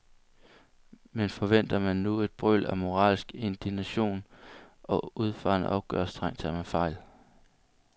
Men forventer man nu et brøl af moralsk indignation og udfarende opgørstrang, tager man fejl.